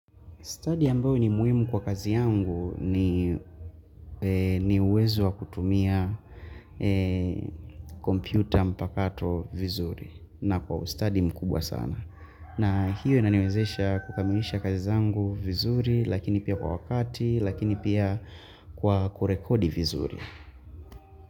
Study ambayo ni muhimu kwa kazi yangu ni uwezo wa kutumia kompyuta mpakato vizuri na kwa ustadi mkubwa sana. Na hiyo inaniwezesha kukamilisha kazi zangu vizuri lakini pia kwa wakati lakini pia kwa kurekodi vizuri.